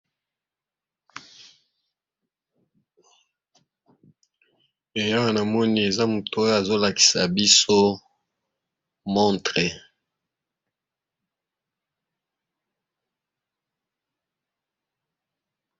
Awa na moni eza moto oyo azol akisa biso montre .